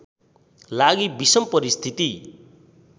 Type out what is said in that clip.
लागि विषम परिस्थिति